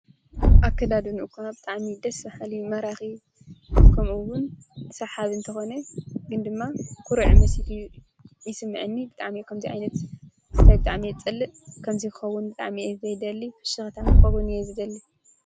እከደድንኡ እኳ ብጣዕሚ ደስ በሃሊ ማራኪ ከምኡ እውን ሰሓቢ እንተኮነ ግን ድማ ኩሩዕ መሲሉ ይስመዐኒ ብጣዕሚ ከምዙይ ዓይነት ስታይል ብጣዕሚ እየ ዝፀልእ ከምዙይ ክኸውን ብጣዕሚ እየ ዘይደሊ ፍሽክታም ክኸውን እየ ዝደሊ::